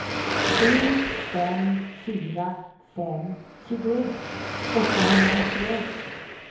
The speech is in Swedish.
sju fem fyra fem tjugoett åttahundranittioett